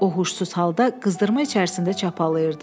O huşsuz halda qızdırma içərisində çapalayırdı.